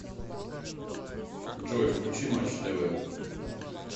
джой включи матч тв